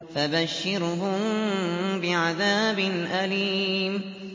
فَبَشِّرْهُم بِعَذَابٍ أَلِيمٍ